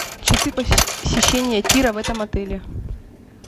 часы посещения тира в этом отеле